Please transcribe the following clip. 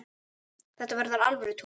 Þetta verður alvöru túr.